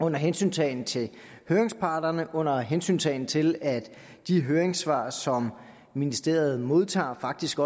under hensyntagen til høringsparterne og under hensyntagen til at de høringssvar som ministeriet modtager faktisk